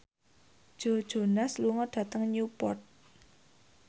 Joe Jonas lunga dhateng Newport